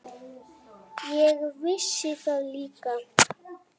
Ég vissi það líka.